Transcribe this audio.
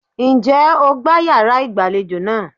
Ǹjẹ́ o gbá yàrá ìgbàlejò náà?